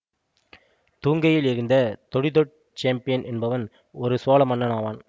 தூங்கெயில் எறிந்த தொடிதோட் செம்பியன் என்பவன் ஒரு சோழ மன்னன் ஆவான்